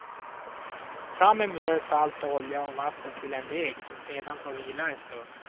Fram med mjöl, salt och olja och vatten till en deg som sedan får vila en stund.